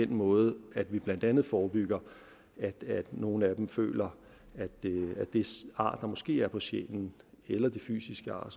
den måde vi blandt andet forebygger at nogle af dem føler at det ar der måske er på sjælen eller det fysiske ar